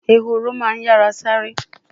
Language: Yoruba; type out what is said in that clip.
Ehoro ma n yara sare